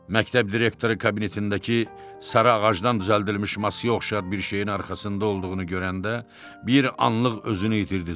Məktəb direktoru kabinetindəki sarı ağacdan düzəldilmiş masaya oxşar bir şeyin arxasında olduğunu görəndə bir anlıq özünü itirdi.